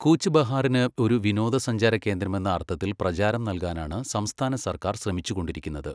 കൂച്ച് ബെഹാറിന് ഒരു വിനോദസഞ്ചാര കേന്ദ്രമെന്ന അർത്ഥത്തിൽ പ്രചാരം നൽകാനാണ് സംസ്ഥാന സർക്കാർ ശ്രമിച്ചുകൊണ്ടിരിക്കുന്നത്.